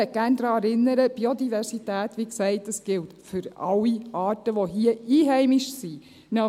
Ich möchte gerne daran erinnern, dass Biodiversität wie gesagt für alle Arten gilt, die hier einheimisch sind.